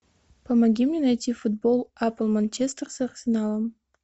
помоги мне найти футбол апл манчестер с арсеналом